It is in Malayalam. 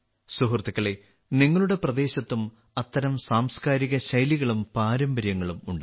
സുഹൃത്തുക്കളേ നിങ്ങളുടെ പ്രദേശത്തും അത്തരം സാംസ്കാരിക ശൈലികളും പാരമ്പര്യങ്ങളും ഉണ്ടാകും